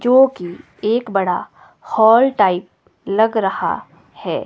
जोकि एक बड़ा हॉल टाइप लग रहा है।